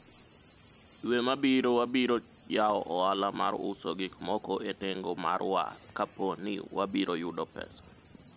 dwe mabiro wabiro yawo ohala mar uso gik moko e nengo mar war kapo ni wabiro yudo pesa